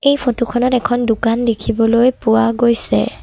এই ফটোখনত এখন দোকান দেখিবলৈ পোৱা গৈছে।